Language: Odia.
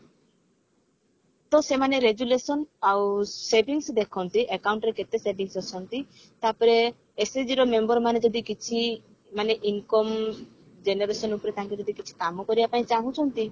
ତ ସେମାନେ resolution ଆଉ savings ଦେଖନ୍ତି account ରେ କେତେ savings ଅଛନ୍ତି ତାପରେ SHG ର member ମାନେ ଯଦି କିଛି ମାନେ income generation ଉପରେ ତାଙ୍କେ ଯଦି କିଛି ମାନେ କାମ କରିବା ପାଇଁ ଚାହୁଁଛନ୍ତି